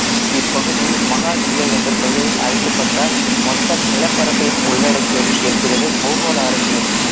இப்பகுதி மகா இந்தியா என்ற பெயரில் அழைக்கப்பட்ட மொத்த நிலப்பரப்பையும் உள்ளடக்கியது என்கிறது பூகோள அரசியல்